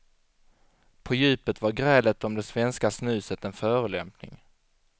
På djupet var grälet om det svenska snuset en förolämpning.